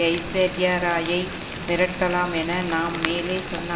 ஐஸ்வர்யாராயை மிரட்டலாம் என நாம் மேலே சொன்ன